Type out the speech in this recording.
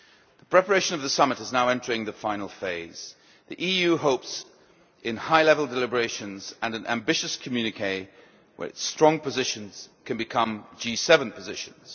The preparation of the summit is now entering the final phase. The EU hopes for high level deliberations and an ambitious communiqué, where its strong positions can become G7 positions.